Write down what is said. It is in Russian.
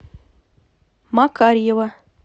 макарьева